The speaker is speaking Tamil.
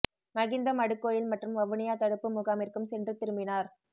மகிந்த மடுக் கோயில் மற்றும் வவுனியாத் தடுப்பு முகாமிற்கும் சென்று திரும்பினார்